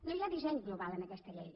no hi ha disseny global en aquesta llei